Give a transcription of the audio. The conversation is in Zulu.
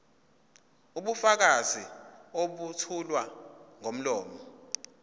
ubufakazi obethulwa ngomlomo